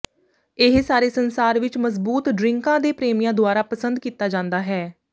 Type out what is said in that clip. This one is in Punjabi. ਇਹ ਸਾਰੇ ਸੰਸਾਰ ਵਿੱਚ ਮਜ਼ਬੂਤ ਡ੍ਰਿੰਕਾਂ ਦੇ ਪ੍ਰੇਮੀਆਂ ਦੁਆਰਾ ਪਸੰਦ ਕੀਤਾ ਜਾਂਦਾ ਹੈ